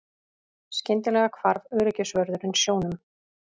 Skyndilega hvarf öryggisvörðurinn sjónum.